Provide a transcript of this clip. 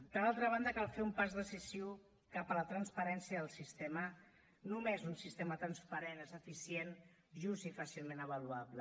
per altra banda cal fer un pas decisiu cap a la transparència del sistema només un sistema transparent és eficient just i fàcilment avaluable